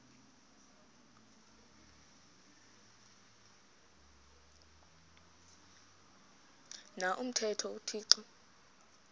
na umthetho uthixo